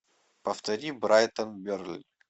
повтори брайтон бернли